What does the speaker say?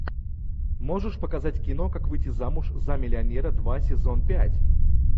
можешь показать кино как выйти замуж за миллионера два сезон пять